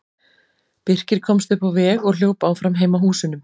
Birkir komst upp á veg og hljóp áfram heim að húsunum.